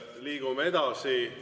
Liigume edasi.